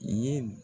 Ye